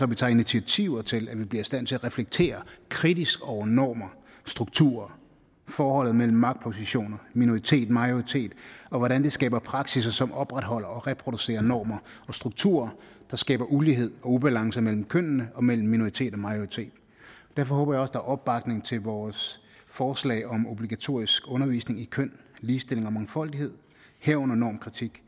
vi tager initiativer til at vi bliver i stand til at reflektere kritisk over normer strukturer forholdet mellem magtpositioner minoritetmajoritet og hvordan det skaber praksisser som opretholder og reproducerer normer og strukturer der skaber ulighed og ubalance mellem kønnene og mellem minoritet og majoritet derfor håber jeg også er opbakning til vores forslag om obligatorisk undervisning i køn ligestilling og mangfoldighed herunder normkritik